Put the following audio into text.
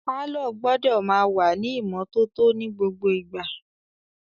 Pàlọ́ gbọ́dọ̀ máa wà ní ìmọ́tótó ní gbogbo ìgbà